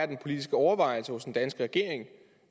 den politiske overvejelse er hos den danske regering